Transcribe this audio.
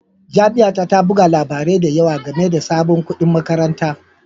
Jami'a ta ta buga labarai da yawa game da sabon kuɗin makaranta